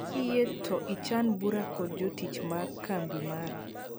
Kiyie to ichan bura kod jotich mar kambi mara